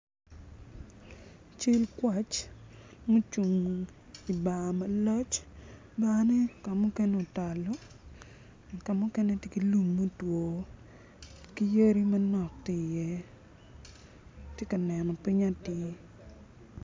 Cal kwac ma ocung i dye bar malac barne tye ki lum ma otalo ki kamu kene tye ki lum ma otalo ki yadi manok bene tye iye.